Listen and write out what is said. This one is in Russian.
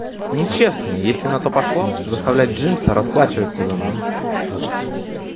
нечестно если на то пошло заставлять джимса расплачиваться за нас